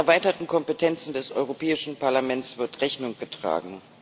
Den erweiterten Kompetenzen des Europäischen Parlaments wird Rechnung getragen.